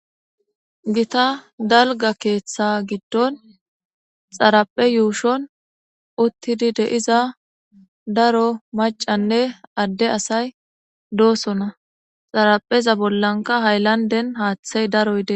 Gita dalga keeththa giddon xaraphe yuushon uttidi deiza daro macanne adde asay doosona xarapheza bollanka hayllanden haaththey daroy dee.